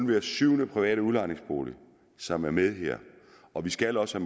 hver syvende private udlejningsbolig som er med her og vi skal også